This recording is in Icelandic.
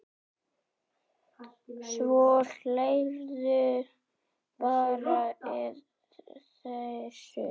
Svo hlærðu bara að þessu!